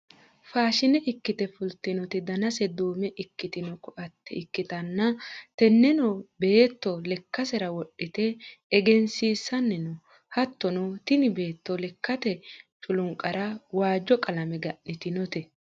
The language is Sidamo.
faashine ikkite fultino danase duume ikkitino koatte ikkitanna , tenneno beetto lekkasera wodhite egensiissanni no. hattono tini beetto lekkate culunqara waajjo qalame ga'nitinote.